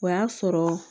O y'a sɔrɔ